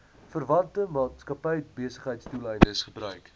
verwante maatskappybesigheidsdoeleindes gebruik